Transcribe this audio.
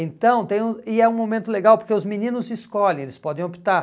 então tem um E é um momento legal porque os meninos escolhem, eles podem optar.